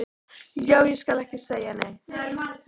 Já, ég skal ekki segja neitt.